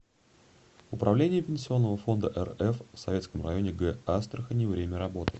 управление пенсионного фонда рф в советском районе г астрахани время работы